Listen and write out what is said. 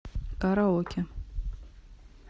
караоке